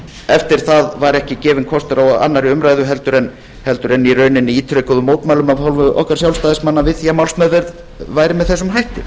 eftir það var ekki gefinn kostur á annarri umræðu en í rauninni ítrekuðum mótmælum af hálfu okkar sjálfstæðismanna við því að málsmeðferð væri með þessum hætti